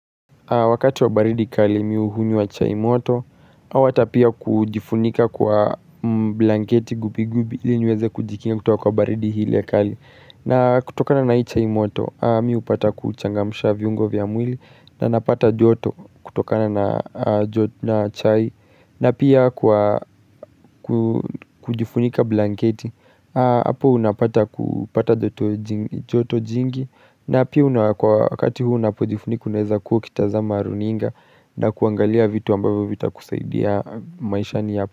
Wakati wa baridi kali mi hunywa chai moto au hata pia kujifunika kwa blanketi gubi gubi ili niweze kujikinga kutoka kwa baridi ile kali na kutokana na hii chai moto, mi hupata kuchangamsha viungo vya mwili na napata joto kutokana na chai na pia kwa kujifunika blanketi hapo unapata kupata joto joto jingi na pia kwa wakati huu unapojifunika unaeza kuwa ukitazama runinga na kuangalia vitu ambayo vitakusaidia maishani ya.